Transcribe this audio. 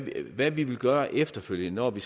hvad vi vil gøre efterfølgende når vi